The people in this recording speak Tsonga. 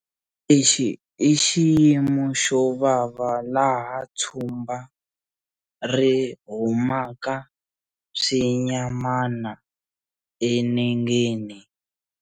Lexi i xiyimo xo vava laha tshumba ri humaka swinyamana enengeni.